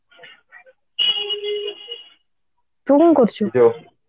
ତୁ କଣ କରୁଛୁ